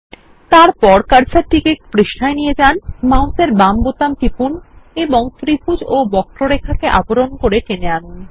তারপর কার্সারকে পৃষ্ঠায় নিয়ে যান মাউসের বাম বোতাম টিপুন এবং ত্রিভুজ এবং বক্ররেখাকে আবরণ করে টেনে আনুন